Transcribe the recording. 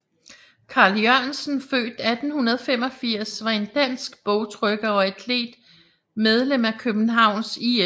Carl Jørgensen født 1885 var en dansk bogtrykker og atlet medlem af Københavns IF